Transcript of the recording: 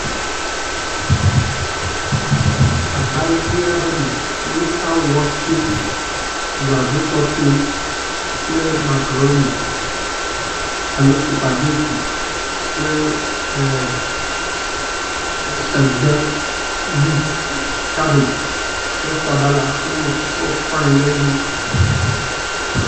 Agba ʋi aɖe me si woka watse, bladzo tɔtɔe kple makuroni alo supageti kple … egbe leafs, cabbage kple sabala, wowɔ shitɔ fine ɖe edzi